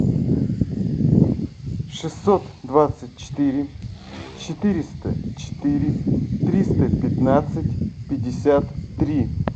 шестьсот двадцать четыре четыреста четыре триста пятнадцать пятьдесят три